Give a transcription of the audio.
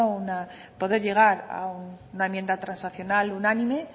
poder llegar a un enmienda transaccional unánime